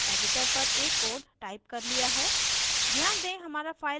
मैंने पहले ही editor पर एक code टाइप किया है